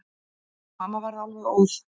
Mamma varð alveg óð.